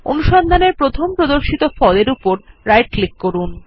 অনুসন্ধানের প্রথম প্রদর্শিত ফলাফলএর উপর রাইট ক্লিক করুন